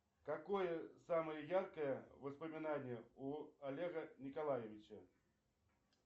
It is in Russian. какое самое яркое воспоминание у олега николаевича